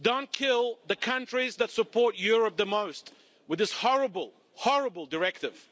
Don't kill the countries that support Europe the most with this horrible, horrible directive.